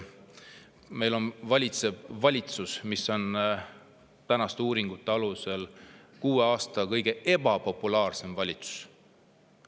Meil valitseb valitsus, mis on tänaste uuringute alusel kuue aasta kõige ebapopulaarsem valitsus.